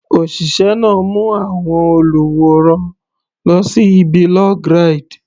Òṣìṣẹ́ náà mú àwọn olùwòran lọ sí ibi log ride.